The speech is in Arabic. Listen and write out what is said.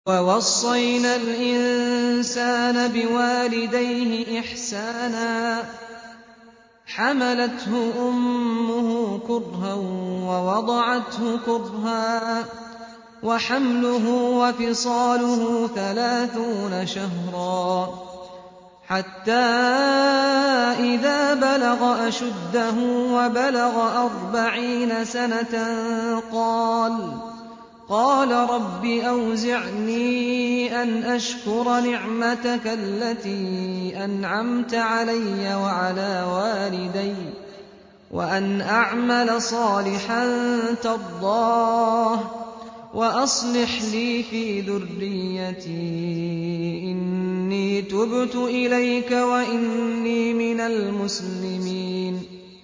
وَوَصَّيْنَا الْإِنسَانَ بِوَالِدَيْهِ إِحْسَانًا ۖ حَمَلَتْهُ أُمُّهُ كُرْهًا وَوَضَعَتْهُ كُرْهًا ۖ وَحَمْلُهُ وَفِصَالُهُ ثَلَاثُونَ شَهْرًا ۚ حَتَّىٰ إِذَا بَلَغَ أَشُدَّهُ وَبَلَغَ أَرْبَعِينَ سَنَةً قَالَ رَبِّ أَوْزِعْنِي أَنْ أَشْكُرَ نِعْمَتَكَ الَّتِي أَنْعَمْتَ عَلَيَّ وَعَلَىٰ وَالِدَيَّ وَأَنْ أَعْمَلَ صَالِحًا تَرْضَاهُ وَأَصْلِحْ لِي فِي ذُرِّيَّتِي ۖ إِنِّي تُبْتُ إِلَيْكَ وَإِنِّي مِنَ الْمُسْلِمِينَ